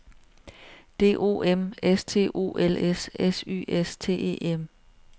D O M S T O L S S Y S T E M